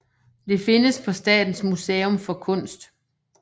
Det findes på Statens Museum for Kunst